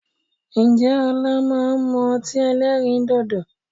Ǹjẹ́ ọlá máa ń mú ọtí ẹlẹ́rìndòdò?